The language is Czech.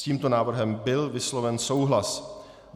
S tímto návrhem byl vysloven souhlas.